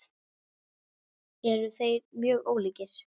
Eru þeir mjög ólíkir?